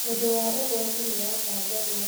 ũnd wa ũgwati nĩ watangathwo